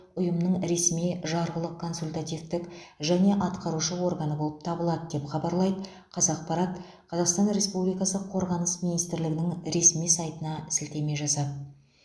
ұйымның ресми жарғылық консультативтік және атқарушы органы болып табылады деп хабарлайд қазақпарат қазақстан республикасы қорғаныс министрлігінің ресми сайтына сілтеме жасап